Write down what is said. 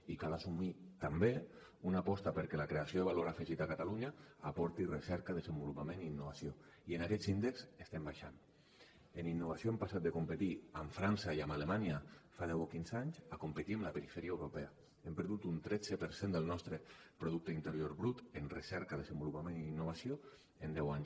i cal assumir també una aposta perquè la creació de valor afegit a catalunya aporti recerca desenvolupament i innovació i en aquests índexs estem baixant en innovació hem passat de competir amb frança i amb alemanya fa deu o quinze anys a competir amb la perifèria europea hem perdut un tretze per cent del nostre producte interior brut en recerca desenvolupament i innovació en deu anys